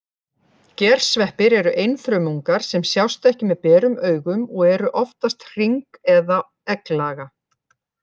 Gersveppir eru einfrumungar sem sjást ekki með berum augum og eru oftast hring- eða egglaga.